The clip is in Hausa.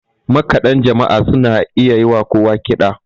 makaɗan jama'a suna iya yi wa kowa kiɗa